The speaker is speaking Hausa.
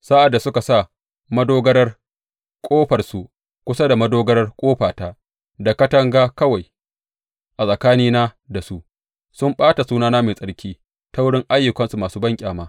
Sa’ad da suka sa madogarar ƙofarsu kusa da madogarar ƙofata, da katanga kawai a tsakanina da su, sun ɓata sunana mai tsarki ta wurin ayyukansu masu banƙyama.